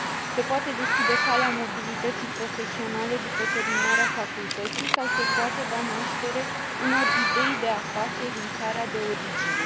Se poate deschide calea mobilității profesionale după terminarea facultății sau se poate da naștere unor idei de afaceri în țara de origine.